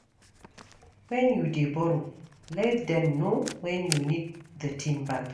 When you dey borrow, let dem know when you need the thing back